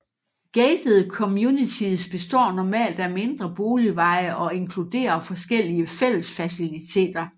Gatede communities består normalt af mindre boligveje og inkluderer forskellige fællesfaciliteter